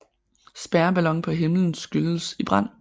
Spærreballon på himlen skydes i brand